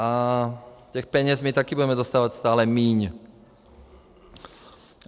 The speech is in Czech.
A těch peněz my také budeme dostávat stále míň.